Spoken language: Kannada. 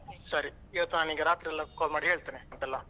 ಸರಿ ಇವತ್ತ್ ನಾನ್ ನಿಂಗೆ ರಾತ್ರಿಯೆಲ್ಲ call ಮಾಡಿ ಹೇಳ್ತೆನೆ ಎಲ್ಲ.